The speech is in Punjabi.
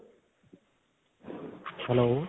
hello.